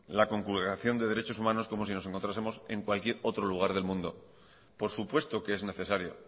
la conculcación de los derechos humanos como si nos encontrásemos en cualquier otro lugar del mundo por supuesto que es necesario